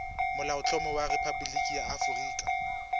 molaotlhomo wa rephaboliki ya aforika